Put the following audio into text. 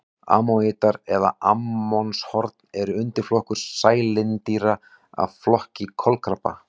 Ammonítar eða ammonshorn er undirflokkur sælindýra af flokki kolkrabba.